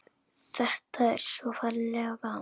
Þetta er svo ferlega gaman.